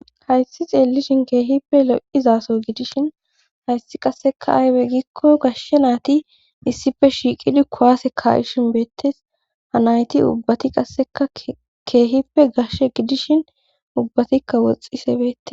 hayssi xeellishin keehippe lo7izaso gidishin hayssi qasseka aybe gikko gashshe naati isspe shiiqidi kuwaase ka7ishin beettes ha nayti ubbati qasseka keehippe gashe gidishin ubbatikka woxxise beette